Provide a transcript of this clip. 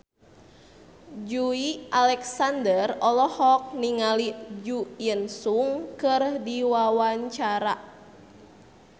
Joey Alexander olohok ningali Jo In Sung keur diwawancara